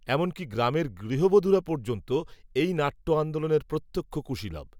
এমনকী গ্রামের গৃহবধূরা পর্যন্ত, এই নাট্য আন্দোলনের প্রত্যক্ষ কূশীলব